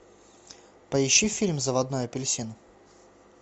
поищи фильм заводной апельсин